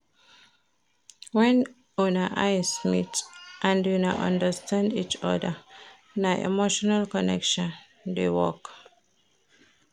Wen una eyes meet, and una understand each oda, na emotional connection dey work.